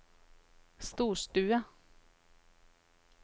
storstue